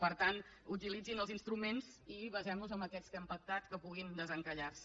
per tant utilitzin els instruments i basem nos en aquests que hem pactat que puguin desencallar se